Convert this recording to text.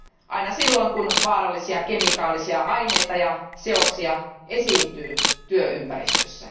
aina silloin, kun vaarallisia kemikaalisia aineita ja seoksia esiintyy työympäristössä.